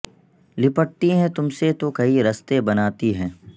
لپٹتی ھیں تم سے تو کئی رستے بناتی ھیں